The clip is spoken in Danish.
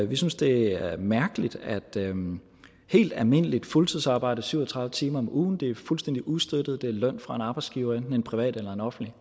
vi synes det er mærkeligt at helt almindeligt fuldtidsarbejde syv og tredive timer om ugen det er fuldstændig ustøttet det er løn fra en arbejdsgiver enten en privat eller en offentlig